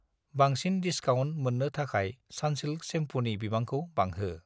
बांसिन डिसकाउन्ट मोन्नो थाखाय सान्सिल्क सेम्फुनि बिबांखौ बांहो।